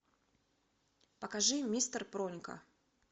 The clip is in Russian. покажи мистер пронька